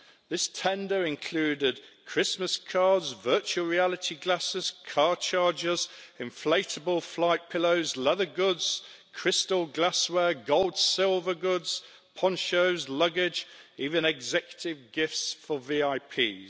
This tender included Christmas cards, virtual reality glasses, car chargers, inflatable flight pillows, leather goods, crystal glassware, gold silver goods, ponchos, luggage, even executive gifts for VIPs.